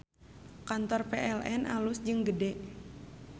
Kantor PLN alus jeung gede